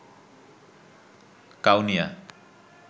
Kaunia